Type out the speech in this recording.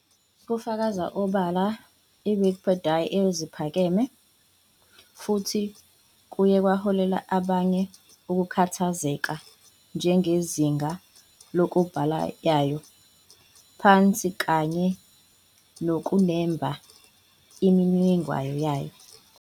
Kufakaza obala Wikipidiya eziphakeme futhi kuye kwaholela abanye ukukhathazeka, njenge izinga lokubhala yayo, phansi kanye nokunemba imininingwane yayo.